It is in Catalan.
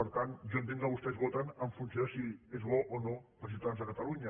per tant jo entenc que vostès voten en funció de si és bo o no per als ciutadans de catalunya